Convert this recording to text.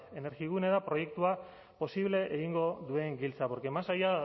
energigune da proiektua posible egingo duen giltza porque más allá